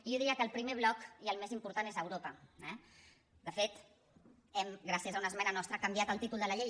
i jo diria que el primer bloc i el més important és europa eh de fet hem gràcies a una esmena nostra canviat el títol de la llei